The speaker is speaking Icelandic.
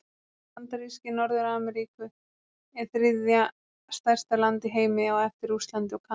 Bandaríki Norður-Ameríku eru þriðja stærsta land í heimi á eftir Rússlandi og Kanada.